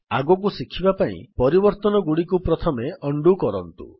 ଆଗକୁ ଶିଖିବା ପାଇଁ ପରିବର୍ତ୍ତନଗୁଡିକୁ ପ୍ରଥମେ ଉଣ୍ଡୋ କରନ୍ତୁ